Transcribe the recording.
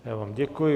Já vám děkuji.